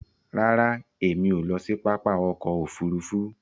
Ràrá Èmi o ló sì pápá ọkọ òfurufú.